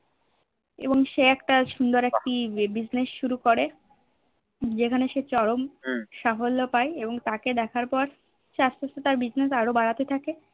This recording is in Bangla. এবং সে একটা সুন্দর একটি Business করে যেখানে সে চরুম সাফল্য পায়ে এবং তাকে দেখার পর সে নিজের Business আরো বাড়াতে থাকে